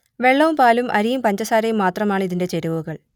വെള്ളവും പാലും അരിയും പഞ്ചസാരയും മാത്രമാണ് ഇതിന്റെ ചേരുവകൾ